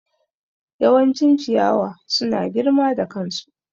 Yawancin ciyawa suna girma da kansu.